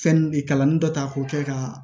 Fɛn de kalani dɔ ta k'o kɛ ka